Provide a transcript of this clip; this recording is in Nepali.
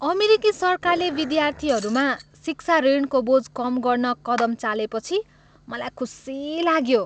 अमेरिकी सरकारले विद्यार्थीहरूमा शिक्षा ऋणको बोझ कम गर्न कदम चालेपछि मलाई खुसी लाग्यो।